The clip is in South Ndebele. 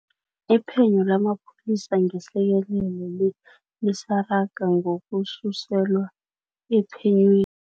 Iphenyo lamapholisa ngehlekelele le, lisaraga ngokususelwa ephenywe